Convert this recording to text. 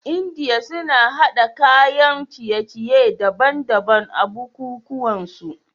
India suna hada kayan ciye ciye daban daban a buku kuwan su